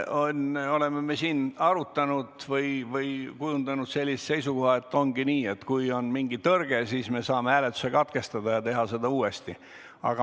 Me oleme seda arutanud ja kujundanud seisukoha, et praeguse lahenduse korral ongi nii, et kui on mingi tõrge, siis me saame hääletuse katkestada ja teha seda uuesti.